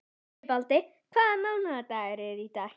Sigvaldi, hvaða mánaðardagur er í dag?